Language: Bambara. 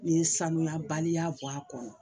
Nin ye sanuya baliya bɔ a kɔnɔ